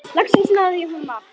Loks náði ég honum af.